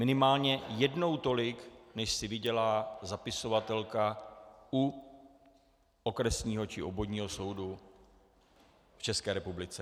Minimálně jednou tolik, než si vydělá zapisovatelka u okresního či obvodního soudu v České republice.